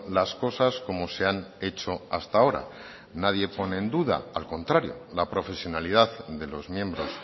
las cosas como se han hecho hasta ahora nadie pone en duda al contrario la profesionalidad de los miembros